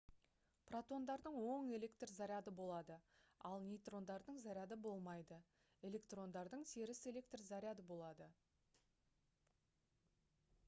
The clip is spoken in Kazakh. протондардың оң электр заряды болады ал нейтрондардың заряды болмайды электрондардың теріс электр заряды болады